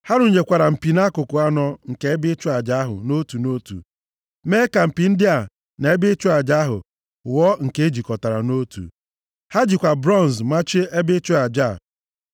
Ha rụnyekwara mpi nʼakụkụ anọ nke ebe ịchụ aja ahụ nʼotu nʼotu. Mee ka mpi ndị a na ebe ịchụ aja ahụ ghọọ nke e jikọtara nʼotu. Ha jikwa bronz machie ebe ịchụ aja a.